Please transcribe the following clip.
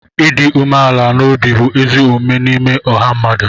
ịdị umeala n'obi bụ ezi omume n'ime ọha mmadụ